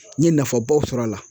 N ye nafabaw sɔrɔ a la